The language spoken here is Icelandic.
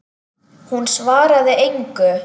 Hún svaraði engu.